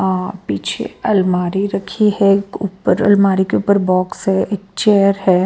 अ पीछे अलमारी रखी है ऊपर अलमारी के ऊपर बॉक्स है एक चेयर है।